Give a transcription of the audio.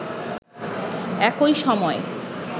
একই সময়